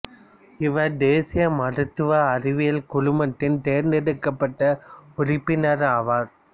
இவர் தேசிய மருத்துவ அறிவியல் குழுமத்தின் தேர்ந்தெடுக்கப்பட்ட உறுப்பினர் ஆவார்